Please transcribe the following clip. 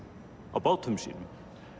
á bátum sínum